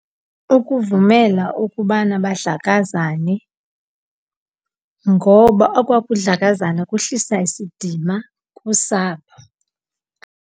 Ukuvumela ukubana badlakazane, ngoba okwakudlakazana kuhlisa isidima kusapho.